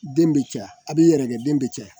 Den bɛ caya a b'i yɛrɛkɛ den bɛ caya